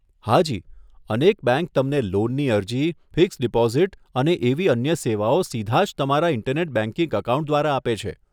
હાજી, અનેક બેંક તમને લોનની અરજી, ફિક્સ્ડ ડીપોઝીટ અને અને એવી અન્ય સેવાઓ સીધા જ તમારા ઈન્ટરનેટ બેંકિંગ એકાઉન્ટ દ્વારા આપે છે.